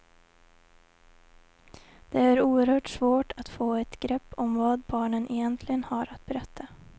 Det är oerhört svårt att få ett grepp om vad barnen egentligen har att berätta.